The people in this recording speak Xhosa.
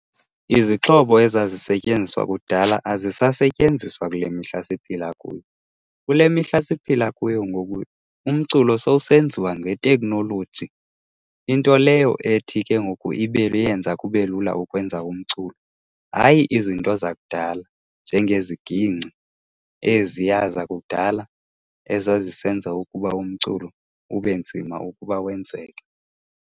Izixhobo ezazisentyenziswa kudala azisasetyenziswa kule mihla siphila kuyo. Kule mihla siphila kuyo ngoku umculo sewusenziwa ngeteknoloji. Into leyo ethi ke ngoku yenza kube lula ukwenza umculo, hayi izinto zakudala njengezigingci eziya zakudala ezazisenza ukuba umculo ube nzima ukuba wenzeke.